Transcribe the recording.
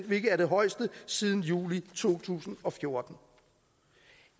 hvilket er det højeste siden juli to tusind og fjorten